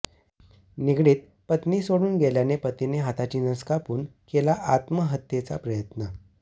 निगडीत पत्नीसोडून गेल्याने पतीने हाताची नस कापून केला आत्महत्येचा प्रयत्न